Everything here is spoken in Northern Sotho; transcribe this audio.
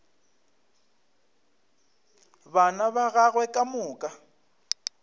bana ba gagwe ka moka